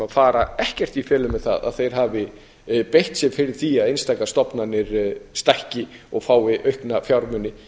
fara ekkert í felur með það að þeir hafi beitt sér fyrir því að einstaka stofnanir stækki og fái aukna fjármuni